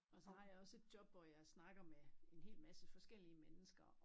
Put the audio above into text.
Og så har jeg også et job hvor snakker med en hel masse forskellige mennesker og